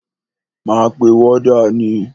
Máa pe wọ́dà ni.